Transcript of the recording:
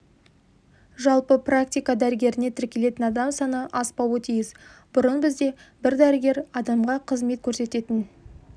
жалпы практика дәрігеріне тіркелетін адам саны аспауы тиіс бұрын бізде бір дәрігер адамға қызмет көрсететін